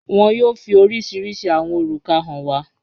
Wọn yóò fi oríṣiríṣí awọn orúkà hàn wà